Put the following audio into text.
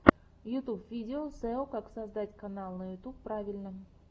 ютьюб видео сео как создать канал на ютуб правильно